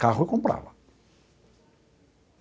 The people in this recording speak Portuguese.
Carro eu comprava.